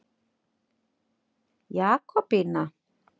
Jakobína